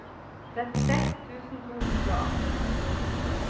trettiseks tusen to hundre og atten